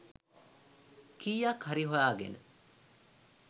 කීයක් හරි හොයාගෙන